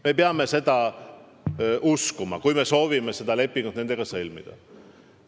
Me peame seda uskuma, kui me soovime seda lepingut nendega sõlmida.